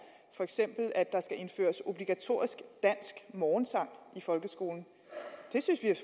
for eksempel at der skal indføres obligatorisk dansk morgensang i folkeskolen det synes vi er